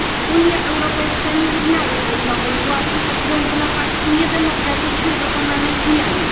Unia Europejska nie uznaje tej nowej władzy ze względu na fakt niedemokratycznie dokonanej zmiany.